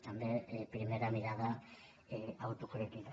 també primera mirada autocrítica